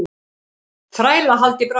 Þrælahald í Brasilíu.